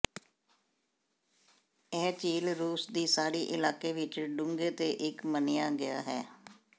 ਇਹ ਝੀਲ ਰੂਸ ਦੀ ਸਾਰੀ ਇਲਾਕੇ ਵਿਚ ਡੂੰਘੇ ਦੇ ਇੱਕ ਮੰਨਿਆ ਗਿਆ ਹੈ